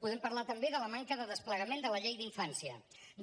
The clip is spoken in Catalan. podem parlar també de la manca de desplegament de la llei d’infància